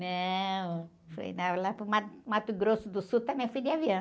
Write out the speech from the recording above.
Não, fui, lá para o Mato Grosso do Sul também fui de avião.